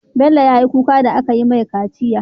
Bello yayi kuka da akayi mai kaciya